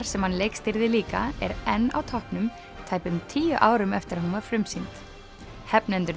sem hann leikstýrði líka er enn á toppnum tæpum tíu árum eftir að hún var frumsýnd